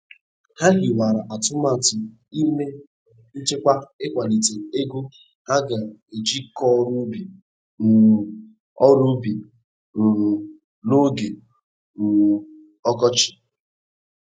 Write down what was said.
Ha hiwara atụmatụ ime nchekwa ikwalite ego ha ga-eji kọọ ọrụ ubi um ọrụ ubi um n'oge um ọkọchị.